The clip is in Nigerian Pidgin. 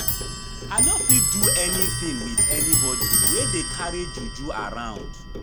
I no go fit do anything with anybody wey dey carry juju around